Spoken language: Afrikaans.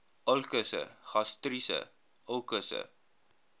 ulkusse gastriese ulkusse